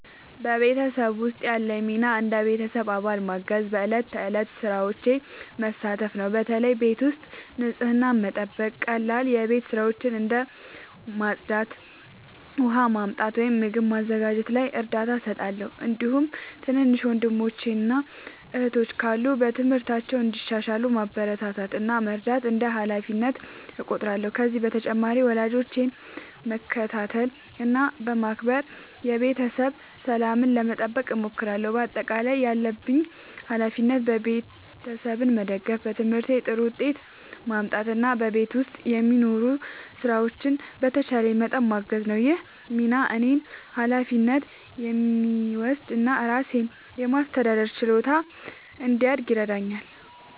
በቤተሰቤ ውስጥ ያለኝ ሚና እንደ ቤተሰብ አባል ማገዝና በዕለት ተዕለት ሥራዎች መሳተፍ ነው። በተለይ ቤት ውስጥ ንጽህናን መጠበቅ፣ ቀላል የቤት ሥራዎችን እንደ ማጽዳት፣ ውሃ ማመጣት ወይም ምግብ ማዘጋጀት ላይ እርዳታ እሰጣለሁ። እንዲሁም ትናንሽ ወንድሞችና እህቶች ካሉ በትምህርታቸው እንዲሻሻሉ ማበረታታት እና መርዳት እንደ ሃላፊነቴ እቆጥራለሁ። ከዚህ በተጨማሪ ወላጆቼን በመከታተል እና በማክበር የቤተሰብ ሰላምን ለመጠበቅ እሞክራለሁ። በአጠቃላይ ያለብኝ ሃላፊነት ቤተሰቤን መደገፍ፣ በትምህርቴ ጥሩ ውጤት ማምጣት እና በቤት ውስጥ የሚኖሩ ሥራዎችን በተቻለኝ መጠን ማገዝ ነው። ይህ ሚና እኔን ኃላፊነት የሚወስድ እና ራሴን የማስተዳደር ችሎታ እንዲያድግ ይረዳኛል።